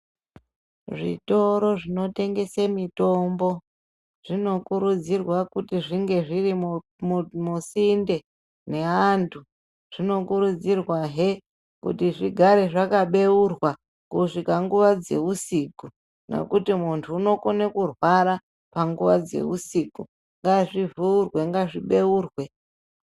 Zvitoro zvinotengese mitombo zvino kurudzirwe kuti zvinge zviri musinde neantu zvino kurudzirwa hre kuti zvigare zvakabeurwa kusvika nguwa dzeusiku ngekuti muntu unokone kurwara panguwa dzeusiku, ngazvivhurwe ngazvibeurwe.